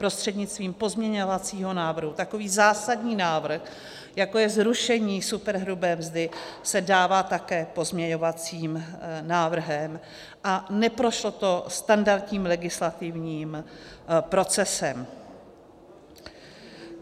prostřednictvím pozměňovacího návrhu takový zásadní návrh, jako je zrušení superhrubé mzdy, se dává také pozměňovacím návrhem a neprošlo to standardním legislativním procesem.